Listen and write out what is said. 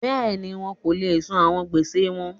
Bẹ́ẹ̀ni, wọn ko le san awọn gbese wọn.